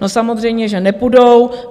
No samozřejmě že nepůjdou.